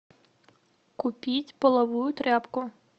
купить половую тряпку